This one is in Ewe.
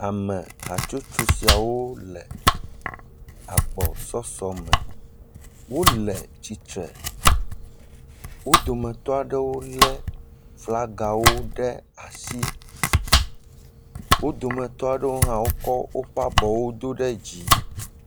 Amehatsotso siawo le agbɔsɔsɔme. Wole tsitre. Wo dometɔ aɖewo lé flagawo ɖe asi. Wo dometɔ aɖewo hã wokɔ woƒe abɔwo do ɖe dzi.